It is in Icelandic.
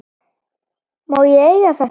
Má ég eiga þetta?